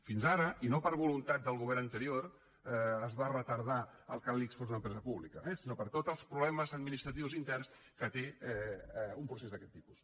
fins ara i no per voluntat del govern anterior es va retardar que l’ics fos una empresa pública eh sinó per tots els problemes administratius interns que té un procés d’aquest tipus